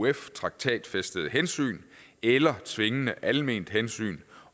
euf traktatfæstede hensyn eller tvingende alment hensyn